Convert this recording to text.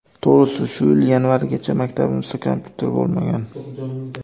To‘g‘risi, shu yil yanvarigacha maktabimizda kompyuter bo‘lmagan.